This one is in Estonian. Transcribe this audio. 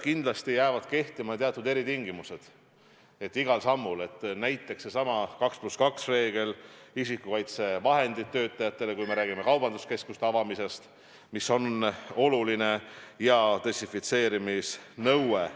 Kindlasti jäävad kehtima teatud eritingimused, igal sammul näiteks seesama 2 + 2 reegel, isikukaitsevahendid töötajatele, kui me räägime kaubanduskeskuste avamisest, mis on oluline, ja desinfitseerimisnõue.